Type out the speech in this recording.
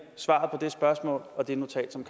svaret på det spørgsmål og det notat som